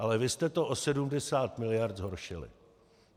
Ale vy jste to o 70 miliard zhoršili.